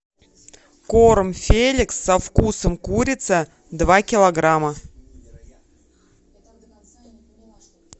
корм феликс со вкусом курица два килограмма